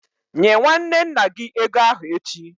Nye nwanne nna gị ego ahụ echi!